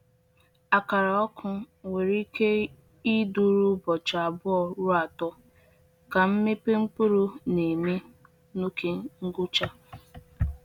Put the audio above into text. Akara ọkụ nwere ike ịdịru ụbọchị abụọ ruo atọ, ka nmepe mkpụrụ na-eme n’ókè ngwụcha.